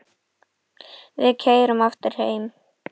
Við keyrðum aftur heim.